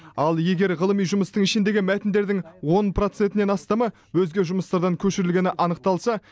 ал егер ғылыми жұмыстың ішіндегі мәтіндердің он процентінен астамы өзге жұмыстардан көшірілгені анықталса